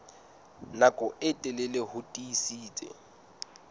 nako e telele ho tiisitse